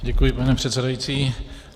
Děkuji, pane předsedající.